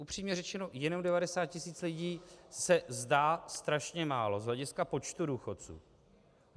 Upřímně řečeno, jenom 90 tisíc lidí se zdá strašně málo z hlediska počtu důchodců.